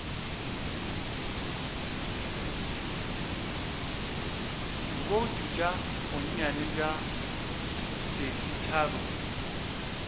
dibouto tša bonnyane bja peditharong